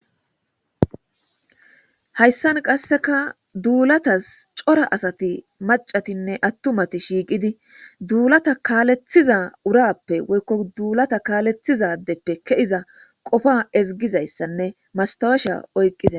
hayssan qasseka duulatas cora asati macatinne attumati shiiqidi duulata kaalethiza urappe woykko duulata kaalethizadeppe keiza qofa ezigizayssanne mastawesha oyqqiza